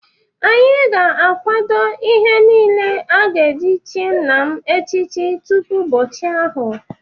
Anyị ga-akwado ihe niile a ga-eji chi nna m echichi tupu ụbọchị ahụ.